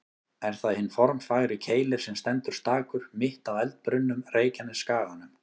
Er það hinn formfagri Keilir sem stendur stakur, mitt á eldbrunnum Reykjanesskaganum.